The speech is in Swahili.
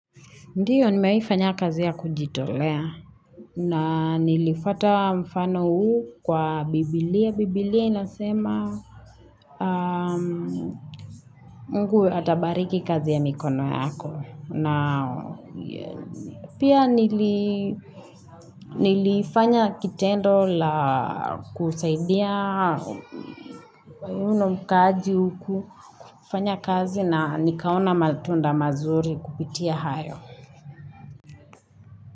Ndiyo nimewahi fanya kazi ya kujitolea na nilifuata mfano huu kwa Biblia. Biblia inasema Mungu atabariki kazi ya mikono yako na pia nili nilifanya kitendo cha kusaidia uno mkaji huku kufanya kazi na nikaona matunda mazuri kupitia hayo.